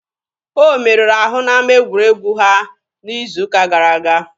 O merụrụ ahụ n'ama egwuregwu ha n'izu ụka gara aga.